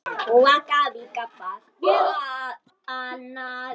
Er það annars?